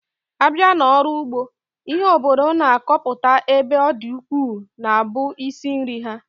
Abịa n'ọrụ ụgbọ, ihe obodo na-akọpụta ebe ọ dị ukwuu na-abụ isi nri ha